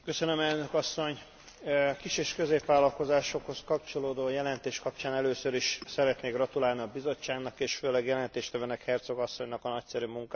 A kis és középvállalkozásokhoz kapcsolódó jelentés kapcsán először is szeretnék gratulálni a Bizottságnak és főleg a jelentéstevőnek, Herczog asszonynak a nagyszerű munkához.